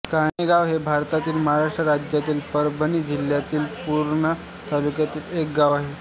कान्हेगाव हे भारताच्या महाराष्ट्र राज्यातील परभणी जिल्ह्यातील पूर्णा तालुक्यातील एक गाव आहे